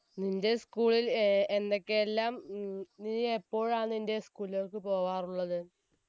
നിന്റെ school ൽ എ എന്തൊക്കെയെല്ലാം ഉം നീ എപ്പോഴാണ് നിന്റെ school ലേക്ക് പോവാറുള്ളത്